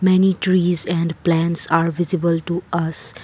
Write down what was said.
many trees and plants are visible to us.